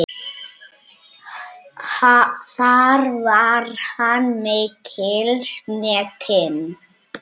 Þar var hann mikils metinn.